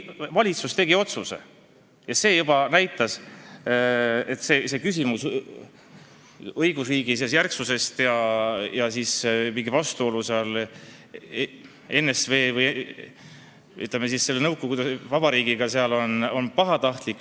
Valitsus tegi otsuse ja juba see näitab, et küsimus riigi õigusjärgsusest ja mingist vastuolust ENSV või, ütleme siis, selle nõukogude vabariigiga on pahatahtlik.